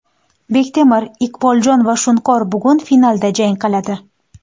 Bektemir, Iqboljon va Shunqor bugun finalda jang qiladi.